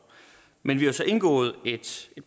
men vi har så indgået en